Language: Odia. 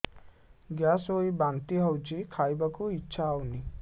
ଗ୍ୟାସ ହୋଇ ବାନ୍ତି ହଉଛି ଖାଇବାକୁ ଇଚ୍ଛା ହଉନି